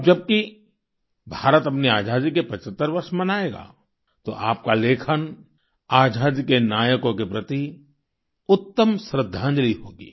अब जबकि भारत अपनी आजादी के 75 वर्ष मनायेगा तो आपका लेखन आजादी के नायकों के प्रति उत्तम श्रद्दांजलि होगी